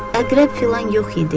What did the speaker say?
Əqrəb filan yox idi.